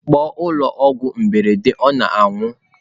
Kpọọ ụlọ ọrụ mberede ọ na-anwụ!.